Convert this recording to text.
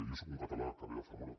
jo sóc un català que ve de zamora